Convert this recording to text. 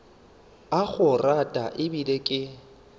a go rata ebile ke